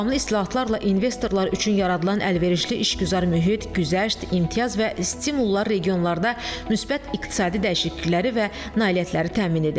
Davamlı islahatlarla investorlar üçün yaradılan əlverişli işgüzar mühit, güzəşt, imtiyaz və stimullar regionlarda müsbət iqtisadi dəyişiklikləri və nailiyyətləri təmin edir.